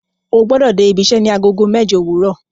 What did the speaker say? O gbọ́dọ̀ dé ibiṣẹ́ ní Agogo mẹ́jọ òwúrọ̀